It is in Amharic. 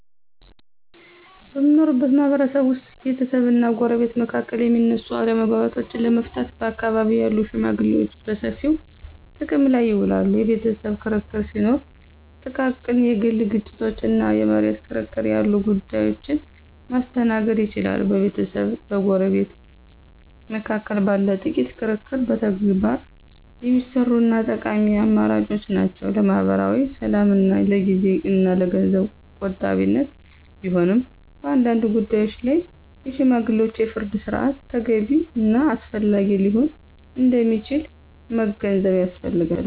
በምንኖርበት ማህበረሰብ ውስጥ ቤተሰብና ጎረቤት መካከል የሚነሱ አለመግባባቶችን ለመፍታት በአካባቢው ያሉ ሽመግሌዎችን በሰፊው ጥቅም ላይ ይውላሉ። የቤተሰብ ክርክር ሲኖር፣ ጥቃቅን የግል ግጭቶች እና የመሬት ክርክር ያሉ ጉዳዮችን ማስተናገድ ይችላሉ። በቤተሰብና በጎረቤት መካከል ባለ ጥቂት ክርክር በተግባር የሚሰሩ እና ጠቃሚ አማራጮች ናቸው። ለማኅበራዊ ሰላምና ለጊዜ እና ለገንዘብ ቆጣቢነት ቢሆንም፣ በአንዳንድ ጉዳዮች ላይ የሽማግሌዎች የፍርድ ሥርዓት ተገቢ እና አስፈላጊ ሊሆን እንደሚችል መገንዘብ ያስፈልጋል።